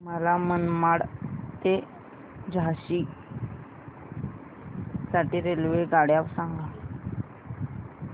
मला मनमाड ते झाशी साठी रेल्वेगाड्या सांगा